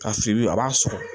Ka fili a b'a sɔrɔ